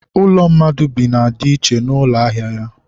ụlọ mmadụ bi na ya dị iche na ụlọ ahịa ya.